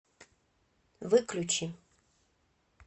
выключи